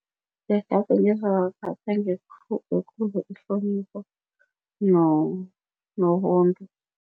Ihlonipho nobuntu.